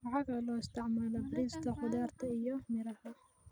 Waxa kale oo loo isticmaalaa beerista khudaarta iyo miraha.